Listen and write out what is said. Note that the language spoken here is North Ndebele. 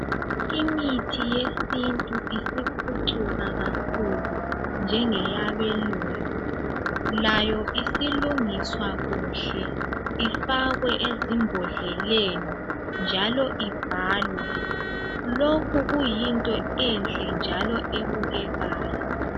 Imithi yesintu isiphucukile kakhulu njenge yabelungu layo isilungiswa kuhle ifakwe ezimbodleleni njalo ibhalwe lokhu kuyinto enhle njalo ebukekayo.